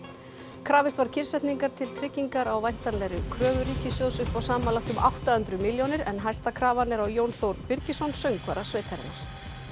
krafist var kyrrsetningar til tryggingar á væntanlegri kröfu ríkissjóðs upp á samanlagt um átta hundruð milljónir en hæsta krafan er á Jón Þór Birgisson söngvara sveitarinnar